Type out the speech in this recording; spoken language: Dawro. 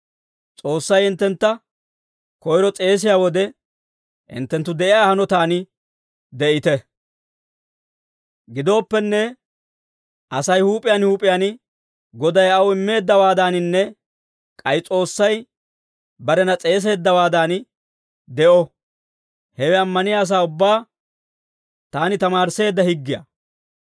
Gidooppenne, Asay huup'iyaan huup'iyaan Goday aw immeeddawaadaaninne k'ay S'oossay barena s'eeseeddawaadan de'o. Hewe ammaniyaa asaa ubbaa taani tamaarisseedda higgiyaa.